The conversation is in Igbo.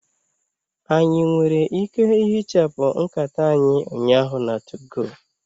Anyị nwere ike ihichapụ nkata anyị ụnyaahụ na 2go?